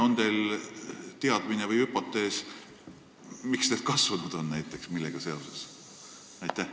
On teil teadmine või hüpotees, miks need on näiteks sagenenud, millega seoses?